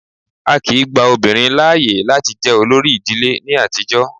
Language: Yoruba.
Á kìí gba obìnrin láàyè láti jẹ olórí ìdílé ní àtijọ́.